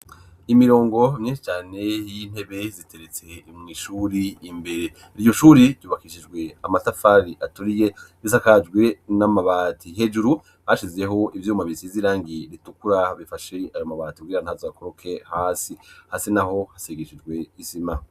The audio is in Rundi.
Imirongo myinshi cane y'intebe ziteretse imuishuri imbere iryo shuri yubakishijwe amatafari atoriye bisakajwe n'amabati hejuru hashizeho ibyuma bisi zirangi ritukura bifashe aro mabati bw'ira ntazakoroke hasi hase naho hasegeshijwe isima.